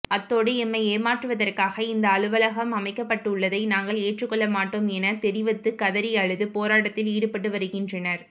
அத்தோடு எம்மை ஏமாற்றுவதற்காக இந்த அலுவலகம் அமைக்கப்பட்டுள்ளதை நாங்கள் ஏற்றுக்கொள்ள மாட்டோம் எனத் தெரிவத்து கதறியழுது போராட்டத்தில் ஈடுபட்டு வருகின்றனர்